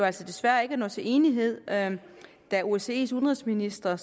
altså desværre ikke at nå til enighed da da osces udenrigsministre